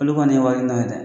Olu kɔni na ye dɛ